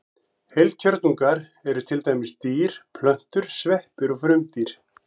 Heilkjörnungar eru til dæmis dýr, plöntur, sveppir og frumdýr.